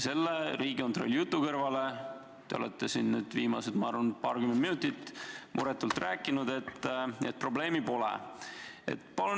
Selle Riigikontrolli jutu peale te olete siin viimased, ma arvan, paarkümmend minutit muretult rääkinud, et probleemi pole.